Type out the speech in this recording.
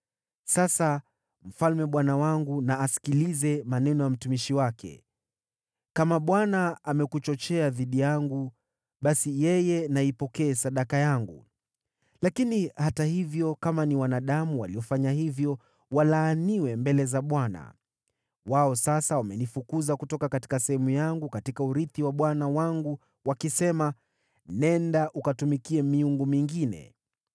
Sasa mfalme bwana wangu na asikilize maneno ya mtumishi wake. Kama Bwana amekuchochea dhidi yangu, basi yeye na aipokee sadaka yangu. Lakini hata hivyo, kama ni wanadamu waliofanya hivyo, walaaniwe mbele za Bwana ! Wao sasa wamenifukuza kutoka sehemu yangu katika urithi wa Bwana wangu wakisema, ‘Nenda ukatumikie miungu mingine.’